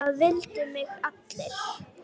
Það vildu mig allir.